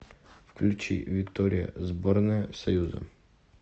включи виктория сборная союза